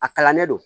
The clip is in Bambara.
A kalan ne do